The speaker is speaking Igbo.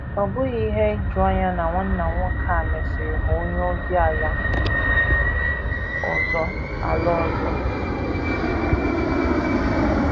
Ọ bụghị ihe ijuanya na nwanna nwoke a mesịrị ghọọ onye ozi ala ọzọ. ala ọzọ.